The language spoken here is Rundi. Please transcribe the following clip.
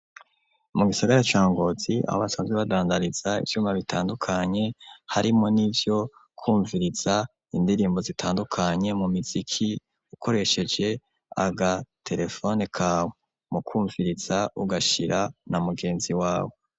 Mu gisagara ca Ngozi aho basanzwe badandariza ivyuma bitandukanye, harimwo n'ivyo kumviriza indirimbo zitandukanye mu miziki ukoresheje agaterefone kawe mu kumviriza ugashira na mugenzi wawe.